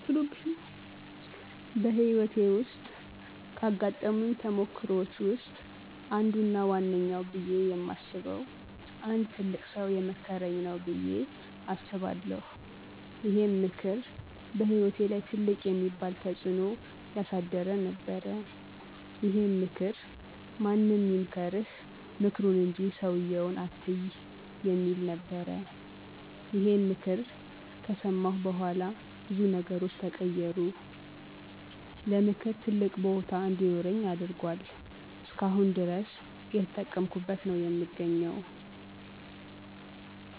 በህይወቴ ውስጥ ካጋጠሙኝ ተሞክሮወች ውስጥ አንዱ እና ዋነኛው ብየ የማስበው አንድ ትልቅ ሠው የመከረኝ ነው በየ አስባለሁ። ይሄም ምክር በህይወቴ ላይ ትልቅ የሚባል ተጽዕኖ ያሳደረ ነበረ። ይሄም ምክር ማንም ይምከርህ ምክሩን እንጂ ሠውየውን አትይ የሚል ነበረ። ይሄን ምክር ከሠማሁ በኋላ ብዙ ነገሮች ተቀየሩ። ለምክር ትልቅ ቦታ እንዲኖረኝ አድርጎአል። እስከአሁን ድረስ እየተጠቀምኩት ነው የምገኘው።